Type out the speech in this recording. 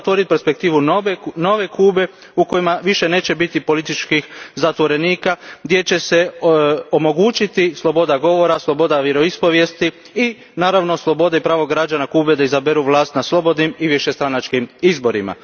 Mora otvoriti perspektivu nove Kube u kojoj više neće biti političkih zatvorenika, gdje će se omogućiti sloboda govora, sloboda vjeroispovijesti i, naravno, sloboda i pravo građana Kube da izaberu vlast na slobodnim i višestranačkim izborima.